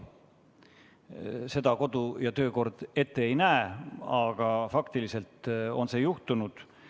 Seda kodu- ja töökorra seadus ette ei näe, aga faktiliselt on see juhtunud.